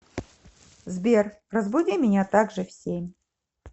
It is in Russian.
сбер разбуди меня так же в семь